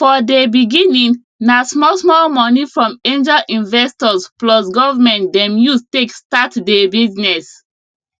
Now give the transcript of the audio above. for dey beginning na small small money from angel investors plus government dem use take start dey business